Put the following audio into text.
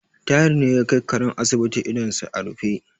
Tahir ne ya kai karen asibiti idonsa a rufe.